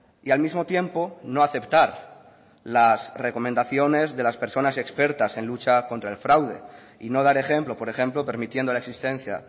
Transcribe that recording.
y al mismo tiempo no aceptar las recomendaciones de las personas expertas en lucha contra el fraude y no dar ejemplo por ejemplo permitiendo la existencia